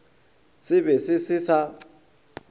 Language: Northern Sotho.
se be se se sa